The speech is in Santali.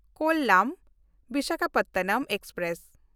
ᱠᱚᱞᱟᱢ–ᱵᱤᱥᱟᱠᱷᱟᱯᱟᱴᱱᱟᱢ ᱮᱠᱥᱯᱨᱮᱥ